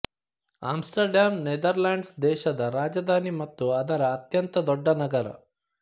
Amsterdam Netherlands ದೇಶದ ರಾಜಧಾನಿ ಮತ್ತು ಅದರ ಅತ್ಯಂತ ದೊಡ್ಡ ನಗರ